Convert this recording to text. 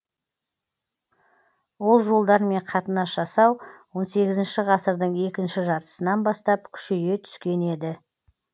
ол жолдармен қатынас жасау он сегізінші ғасырдың екінші жартысынан бастап күшейе түскен еді